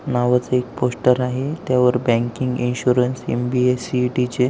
नावाचं एक पोस्टर आहे त्यावर बँकिंग इन्शुरन्स एम.बी.ए. सी.ई.टी. चे--